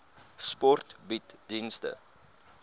sport bied dienste